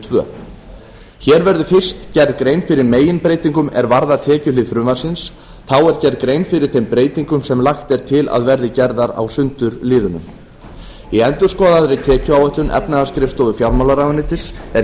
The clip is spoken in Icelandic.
annars hér verður fyrst gerð grein fyrir meginbreytingum er varða tekjuhlið frumvarpsins þá er gerð grein fyrir þeim breytingum sem lagt er til að verði gerðar á sundurliðunum í endurskoðaðri tekjuáætlun efnahagsskrifstofu fjármálaráðuneytis er